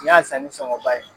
N y'a san ni sɔgɔnba ye.